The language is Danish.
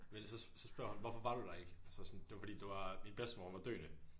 Men så så spørger hun hvorfor var du der ikke og så var jeg sådan det var fordi det var min bedstemor hun var døende